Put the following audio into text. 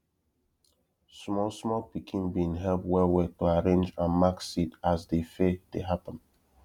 small small pikin bin help well well to arrange and mark seed as de fair dey happen